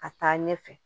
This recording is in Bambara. Ka taa ɲɛfɛ